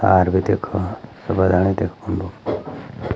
तार भी देखो सूबा ढाणी देखो फुंडू।